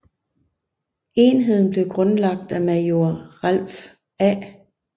Enheden blev grundlagt af major Ralph A